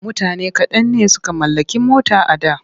Mutane kaɗan ne suka mallaki mota a da.